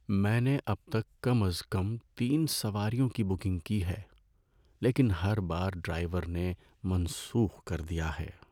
میں نے اب تک کم از کم تین سواریوں کی بکنگ کی ہے، لیکن ہر بار ڈرائیور نے منسوخ کر دیا ہے۔